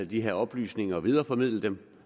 de her oplysninger og videreformidle dem